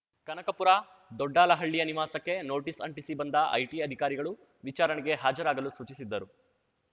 ಕನಕಪುರ ದೊಡ್ಡಾಲಹಳ್ಳಿಯ ನಿವಾಸಕ್ಕೆ ನೋಟಿಸ್‌ ಅಂಟಿಸಿ ಬಂದ ಐಟಿ ಅಧಿಕಾರಿಗಳು ವಿಚಾರಣೆಗೆ ಹಾಜರಾಗಲು ಸೂಚಿಸಿದ್ದರು